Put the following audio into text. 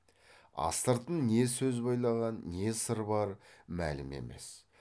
астыртын не сөз бөйлаған не сыр бар мәлім емес